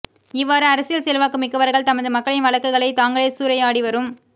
இவ்வாறு அரசியல் செல்வாக்கு மிக்கவர்கள் தமது மக்களின் வழங்களை தாங்களே சூறையாடிவரும்